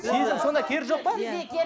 сезім сонда керегі жоқ па